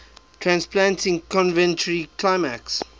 transplanting coventry climax